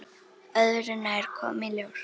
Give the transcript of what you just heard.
Öðru nær, kom í ljós.